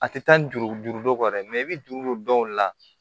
A tɛ taa ni juru duuru don kɔ dɛ i bɛ juru don dɔw la